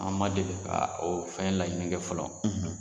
An ma deli ka o fɛn laɲini kɛ fɔlɔ.